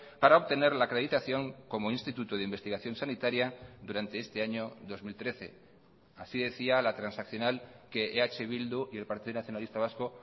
para obtener la acreditación como instituto de investigación sanitaria durante este año dos mil trece así decía la transaccional que eh bildu y el partido nacionalista vasco